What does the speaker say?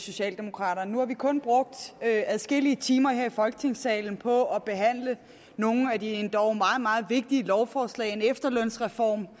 socialdemokraterne nu har vi kun brugt adskillige timer her i folketingssalen på at behandle nogle af de endog meget meget vigtige lovforslag en efterlønsreform